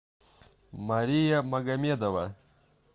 мария магомедова